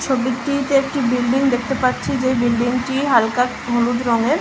ছবিটিতে একটি বিল্ডিং দেখতে পাচ্ছি যে বিল্ডিংটি হালকা হলুদ রংয়ের।